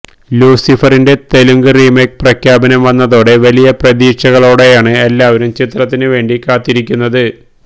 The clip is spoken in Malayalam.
ലൂസിഫറിന്റെ തെലുങ്ക് റീമേക്ക് പ്രഖ്യാപനം വന്നതോടെ വലിയ പ്രതീക്ഷകളോടെയാണ് എല്ലാവരും ചിത്രത്തിന് വേണ്ടി കാത്തിരിക്കുന്നത്